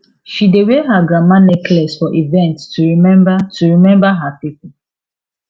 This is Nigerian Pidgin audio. she dey wear her grandma necklace for event to remember to remember her people